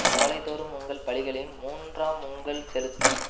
காலைதோறும் உங்கள் பலிகளையும் மூன்றாம் உங்கள் செலுத்தி